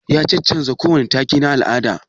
Ya cancancta wa kowani take na al'ada?